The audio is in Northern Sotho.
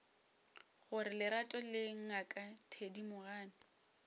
gore lerato le ngaka thedimogane